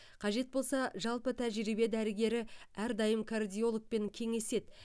қажет болса жалпы тәжірибе дәрігері әрдайым кардиологпен кеңеседі